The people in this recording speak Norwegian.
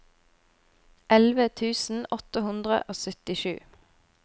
elleve tusen åtte hundre og syttisju